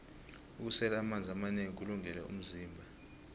kusela amanzi amanengi kulungele vmzimba